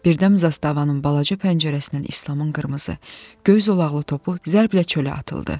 Birdən zastavanın balaca pəncərəsindən İslamın qırmızı, göy zolaqlı topu zərblə çölə atıldı.